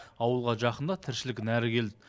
ауылға жақында тіршілігі нәрі ел